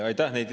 Aitäh!